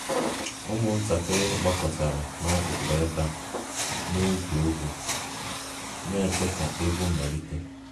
Ụmụntakịrị gbakọtara n'akụkụ ebe a na-egwu egwu, na-eche ka egwu malite